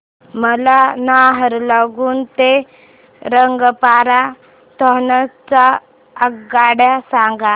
मला नाहरलागुन ते रंगपारा नॉर्थ च्या आगगाड्या सांगा